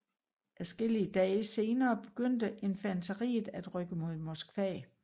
Adskillige dage senere begyndte infanteriet at rykke mod Moskva